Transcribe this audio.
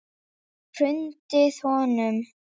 Hrundið honum?